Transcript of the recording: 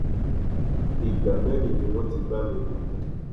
ìgbà mẹrin ni wọn ti bá mi lò pọ